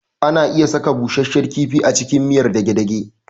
Ana iya saka busashshen kifi a cikin miyar dage-dage